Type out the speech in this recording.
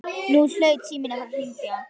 Nú hlaut síminn að fara að hringja.